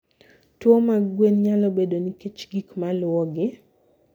Tuwo mag gwen nyalo bedo nikech gik maluwogi;